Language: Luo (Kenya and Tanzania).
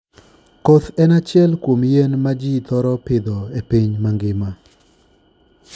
Koth en achiel kuom yien ma ji thoro pidho e piny mangima.